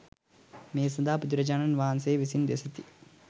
මේ සඳහා බුදුරජාණන් වහන්සේ විසින් දෙසිත